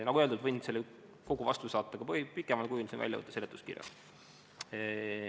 Nagu öeldud, võin kogu selle vastuse saata ka pikemal kujul, see on väljavõte seletuskirjast.